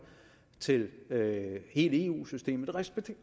til hele eu systemet det respekterer